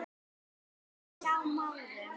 og Hjá Márum.